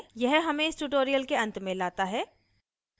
यह हमें इस tutorial के अंत में लाता है